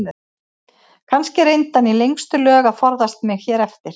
Kannski reyndi hann í lengstu lög að forðast mig hér eftir.